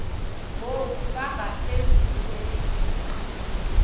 ngoku bangaphezulu kwezigidi